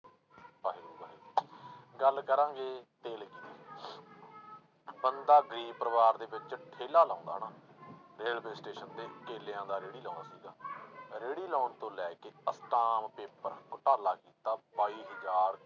ਗੱਲ ਕਰਾਂਗੇ ਤੇਲਗੀ ਦੀ ਬੰਦਾ ਗ਼ਰੀਬ ਪਰਿਵਾਰ ਦੇ ਵਿੱਚ ਠੇਲਾ ਲਾਉਂਦਾ ਹਨਾ ਰੇਲਵੇ ਸਟੇਸ਼ਨ ਤੇ ਕੇਲਿਆਂ ਦਾ ਰੇੜੀ ਲਾਉਂਦਾ ਸੀਗਾ ਰੇੜੀ ਲਾਉਣ ਤੋਂ ਲੈ ਕੇ ਅਸਟਾਮ ਪੇਪਰ ਘੋਟਾਲਾ ਕੀਤਾ ਬਾਈ ਹਜ਼ਾਰ